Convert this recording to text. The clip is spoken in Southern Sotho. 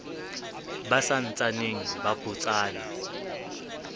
ba sa ntsaneng ba botsana